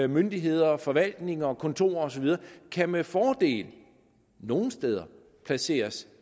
myndigheder forvaltninger og kontorer og så videre kan med fordel nogle steder placeres